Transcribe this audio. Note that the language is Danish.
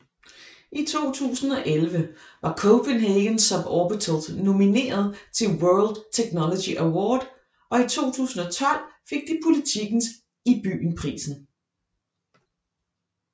I 2011 var Copenhagen Suborbitals nomineret til World Technology Award og i 2012 fik de Politikens IBYEN PRISEN